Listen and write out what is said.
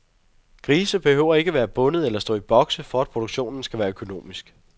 Grise behøver ikke være bundet eller stå i bokse, for at produktionen skal være økonomisk.